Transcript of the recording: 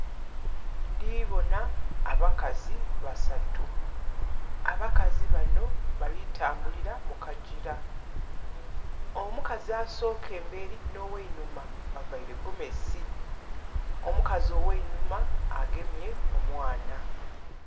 Ndhi bona abakazi basatu. Abakazi bano bali tambulira mu kagyira. Omukazi asooka emberi n'ogheinhuma bavaire gomesi. Omukazi ogheinhuma agemye omwana.